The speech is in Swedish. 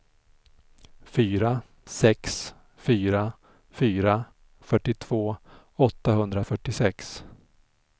fyra sex fyra fyra fyrtiotvå åttahundrafyrtiosex